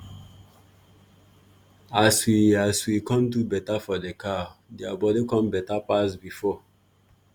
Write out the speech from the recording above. as we as we come do better for the cow their body come better pass before